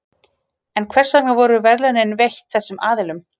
En hvers vegna voru verðlaunin veitt þessum aðilum?